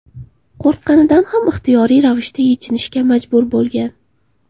qo‘rqqanidan ham ixtiyoriy ravishda yechinishga majbur bo‘lgan.